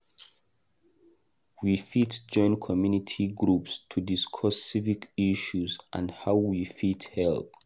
We fit join community groups to discuss civic issues and how we fit help.